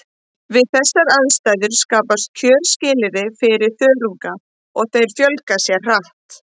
Við þessar aðstæður skapast kjörskilyrði fyrir þörunga og þeir fjölga sér hratt.